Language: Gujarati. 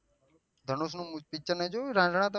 ધનુષ નું પીચ્ત્ર નહી જોયું રન્જ્હના તમે